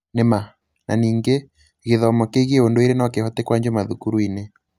Nĩma, na ningĩ, gĩthomo kĩgie ũndũire no kĩhote kũanjio mathukuru-inĩ.